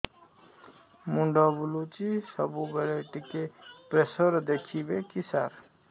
ମୁଣ୍ଡ ବୁଲୁଚି ସବୁବେଳେ ଟିକେ ପ୍ରେସର ଦେଖିବେ କି ସାର